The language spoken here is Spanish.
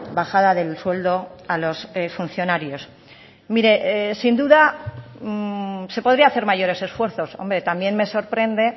bajada del sueldo a los funcionarios mire sin duda se podría hacer mayores esfuerzos hombre también me sorprende